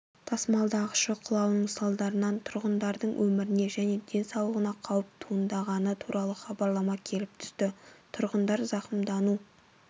тасымалдағышы құлауының салдарынан тұрғындардың өміріне және денсаулығына қауіп туындағаны туралы хабарлама келіп түсті тұрғындар зақымдану